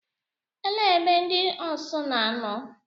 Ele ebe ndị Osu na-anọ?